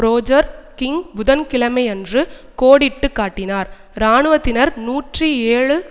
Roger King புதன்கிழமையன்று கோடிட்டு காட்டினார் இராணுவத்தினர் நூற்றி ஏழு